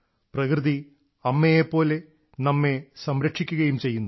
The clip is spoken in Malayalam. പ്രകൃതി അമ്മയെപ്പോലെ നമ്മെ സംരക്ഷിക്കുകയും ചെയ്യുന്നു